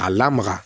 A lamaga